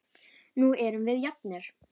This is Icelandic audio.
Nú erum við jafnir.